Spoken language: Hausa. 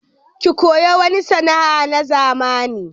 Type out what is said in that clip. Ki koyi wani sana'a na zamani!